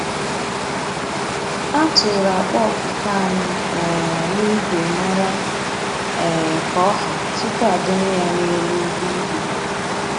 A tụrụ akpa ọpụpa anyị um n'igwe mara um ka ọ́hà tupuu a dọnye ya n'elu ụgbọ íbú